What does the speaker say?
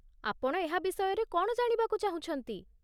ଆପଣ ଏହା ବିଷୟରେ କ'ଣ ଜାଣିବାକୁ ଚାହୁଁଛନ୍ତି ?